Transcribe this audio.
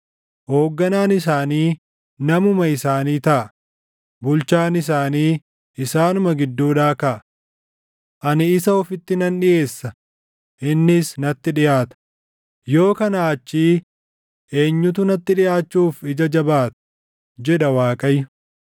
Hoogganaan isaanii namuma isaanii taʼa; bulchaan isaanii isaanuma gidduudhaa kaʼa. Ani isa ofitti nan dhiʼeessa; innis natti dhiʼaata; yoo kanaa achii eenyutu natti dhiʼaachuuf ija jabaata?’ jedha Waaqayyo.